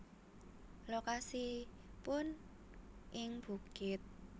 Lokasipun ing bukit